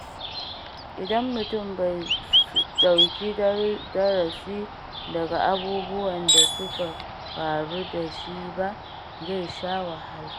Idan mutum bai ɗauki darasi daga abubuwan da suka faru da shi ba, zai sha wahala.